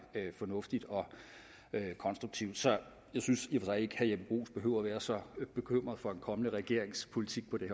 fornuftigt og konstruktivt så jeg synes i sig ikke herre jeppe bruus behøver være så bekymret for en kommende regerings politik på det